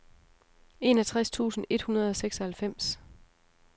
enogtres tusind et hundrede og seksoghalvfems